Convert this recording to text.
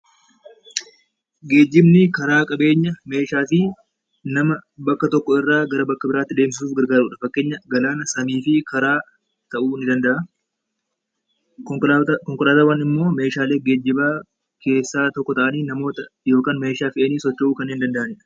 Geejjibni karaa qabeenya, meeshaa fi nama bakka tokko irraa gara bakka biraatti deemsisuuf gargaarudha. Fakkeenya galaana, samii fi karaa ta'uu ni danda'a. Konkolaataawwan immoo meeshaalee geejjibaa keessaa tokko ta'anii namoota yookaan meeshaa fe'anii socho'uu kanneen danda'anidha.